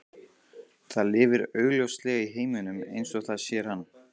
Það lifir augljóslega í heiminum eins og það sér hann.